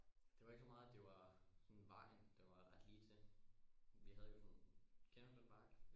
Det var ikke så meget at det var øh vejen den var ret lige til vi havde jo sådan en kender du den bakke